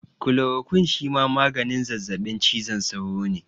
Kulorokwin shima maganin zazzaɓin cizon sauro ne